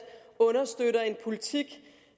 understøtter en politik